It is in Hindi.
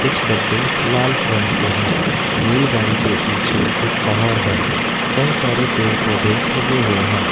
कुछ डब्बे लाल रंग के हैं रेलगाड़ी के पीछे एक पहाड़ है कई सारे पेड़ पौधे लगे हुए हैं।